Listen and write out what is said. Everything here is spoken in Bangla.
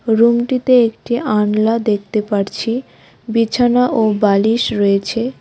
রুমটিতে একটি আনলা দেখতে পারছি বিছানা ও বালিশ রয়েছে।